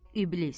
İblis.